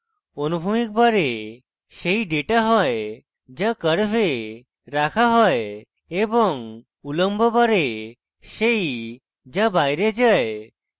অনুভূমিক bar সেই data হয় যা curve রাখা হয় এবং উলম্ব bar সেই যা bar যায়